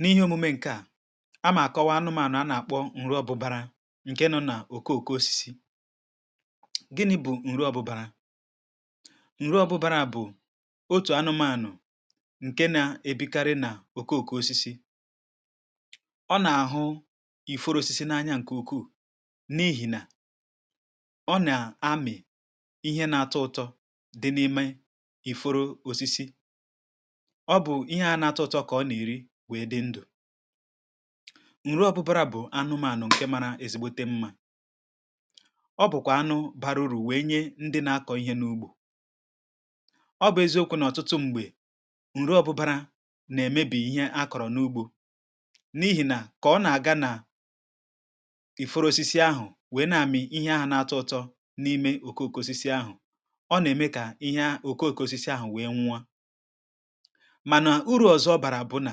N’ihe omume ǹke à a mà àkọwa anụmànụ̀ a nà-àkpọ ǹru ọbụbȧrȧ ǹke nọ nà òkoòko osisi, gini̇ bụ̀ ǹru ọbụbȧrȧ, ǹru ọbụbȧrȧ bụ̀ otù anụmȧnụ̀ ǹke nȧ-ebikarị nà òkoòko osisi ọ nà-àhụ iforo osisi n’anya ǹkè ụkwuu n’ihì nà ọ nà-amị̀ ihe na-atọ ụtọ dị n’ime iforo osisi, ọ bụ ihe ahụ na-ato uto ka ọ na-eri wèe dị ndu. Ǹrụ ọbụbara bụ̀ anụmànụ̀ ǹke màrà èzìgbote mmȧ, ọ bụ̀kwà anụ baruru̇ wèe nye ndị na-akọ̇ ihe n’ugbȯ, ọ bụ̀ eziokwu̇ nà ọtụtụ m̀gbè ǹrụ ọbụbara nà-èmebì ihe akọ̀rọ̀ n’ugbȯ n’ihì nà kà ọ nà-àga nà ìfuru osisi ahụ̀ wèe na-àmị ihe ahụ̀ n’ato ụto n’ime òkoòko òsisi ahụ̀, ọ nà-ème kà ihe ahụ̀ òkoòko òsisi ahụ̀ wèe nwuo mana uru ọzọ ọbara bu na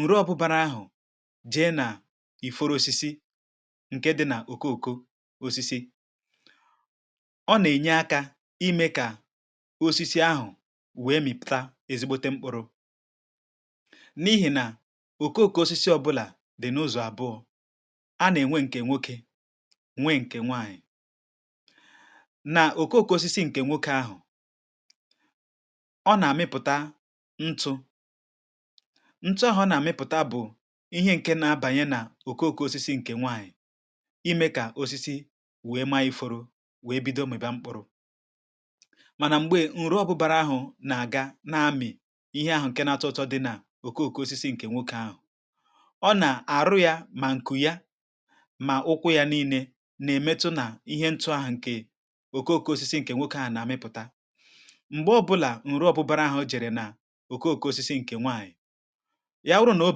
ǹrụ ọ̀bụbara ahụ̀ jee nà-ìforo osisi ǹke di nà òkoòko osisi ọ nà ènye akȧ imė kà osisi ahụ̀ wee mìpùta ezigbote mkpụrụ n’ihì nà òkoòko osisi ọbụlà dì n’ụ̀zọ̀ àbụọ a nà ènwe ǹkè nwokė nwe ǹkè nwaanyị, nà òkoòko osisi ǹkè nwokė ahụ̀ ọ nà-àmịpụ̀ta ntụ̇ ntu ahụ̀ọ nà-àmịpụ̀ta bụ̀ ihe ǹke na-abànye nà òkoòko osisi ǹkè nwaànyị̀ imė kà osisi wèe ma ifo ruo wèe bido mị̀ba mkpụru, mànà m̀gbè ǹru ọbụbȧrȧ ahụ̀ nà-àga na-amị̀ ihe ahụ ǹke na-atụ ụtọ dị nà òkoòko osisi ǹkè nwokė ahụ̀ ọ nà àrụ yȧ mà ǹkù ya mà ụkwụ yȧ niilė nà-èmetụ nà ihe ntu ahụ̀ ǹkè òkoòko osisi ǹkè nwokė ahụ̀ nà-àmịpụ̀ta, m̀gbè ọbụlà ǹru ọbụbȧrȧ ahụ̇ jère nà òkoòko òsisi nke nwanyị ya wụrụ nà o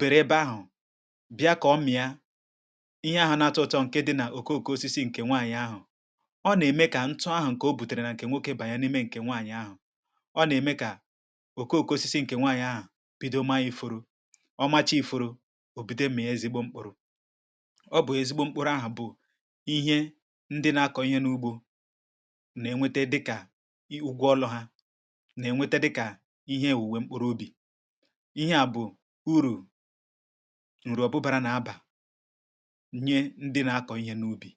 bèrè ebe ahụ̀ bịa kà ọ mịa ihe ahụ̇ na-atụ̇uto ǹke dị nà òkoòko osisi ǹkè nwaànyị ahụ,̀ ọ nà-ème kà ntụ ahụ̀ ǹkè o bùtèrè nà ǹkè nwoke bànye n’ime ǹkè nwaànyị̀ ahụ̀, ọ nà-ème kà òkoòko osisi ǹkè nwaànyị̀ ahụ̀ bido ma ifụrụ ọmacha ifụrụ òbìdo mịà ezigbo mkpụrụ̇. Ọ bụ̀ ezigbo mkpụrụ ahụ̀ bụ̀ ihe ndị na-akọ̇ ihe n’ugbȯ na-enweta dịkà ugwu ọlụ̇ ha na-enweta dịkà ihe èwùwe mkpụrụ ubì, ihe à bụ̀ urù ǹrụọ̀bụ̀ bàrà nà abȧ nye ndị na akọ̀ ihe n’ubì.